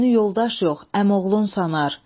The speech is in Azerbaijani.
Özünü yoldaş yox, əmioğlunsanar.